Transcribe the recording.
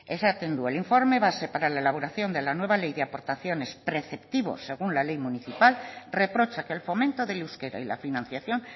esaten du el informe base para la elaboración de la nueva ley de aportaciones preceptivos según la ley municipal reprocha que el fomento del euskera y la financiación